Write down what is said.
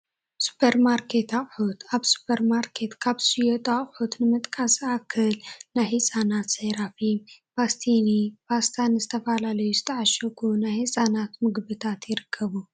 ሱፐርማርኬት አቑሑት፡- ኣብ ሱፐርማርኬት ካብ ዝሽየጡ ኣቕሑት ንምጥቃስ ዝኣክል ናይ ህፃናት ሰሪፋም፣ ፓስቲኒ፣ ፓስታን ዝተፈላለዩ ዝተዓሸጉ ናይ ህፃናት ምግብታት ይርከቡ፡፡